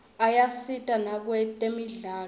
ayasita nakwetemidlalo